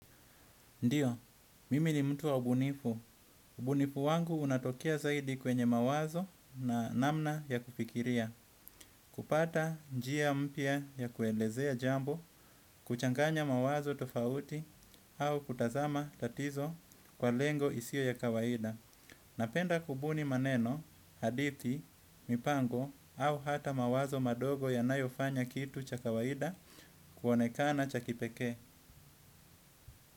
Ndiyo, mimi ni mtu wa ubunifu. Ubunifu wangu unatokea zaidi kwenye mawazo na namna ya kufikiria. Kupata njia mpya ya kuelezea jambo, kuchanganya mawazo tofauti au kutazama tatizo kwa lengo isio ya kawaida. Napenda kubuni maneno, hadithi, mipango au hata mawazo madogo yanayofanya kitu cha kawaida kuonekana cha kipekee.